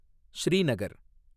Srinagar